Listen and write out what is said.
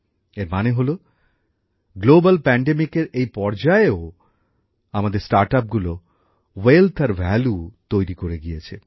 এর মানে হল বিশ্বজুড়ে মহামারীর এই আবহেও আমাদের স্টার্টআপগুলো সম্পদ আর ভ্যালু তৈরি করে গিয়েছে